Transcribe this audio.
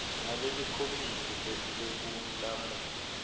ngabe likomiti lekulamula